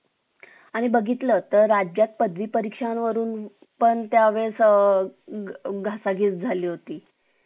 आणि बघितलं तर राज्यात पदवी परीक्षां वरून पण त्यावेळेस अ घासाघीस झाली होती